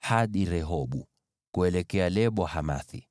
hadi Rehobu, kuelekea Lebo-Hamathi.